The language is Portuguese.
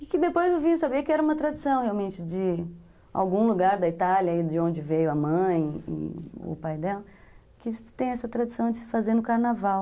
E que depois eu vim a saber que era uma tradição, realmente, de algum lugar da Itália, de onde veio a mãe e o pai dela, que tem essa tradição de se fazer no carnaval.